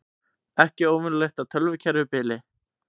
Ekki óvenjulegt að tölvukerfi bili